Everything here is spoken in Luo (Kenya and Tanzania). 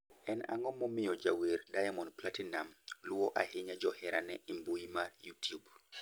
en ang'o momiyo jawer Diamond Platinumz luwo ahinya joherane embui ma Youtube?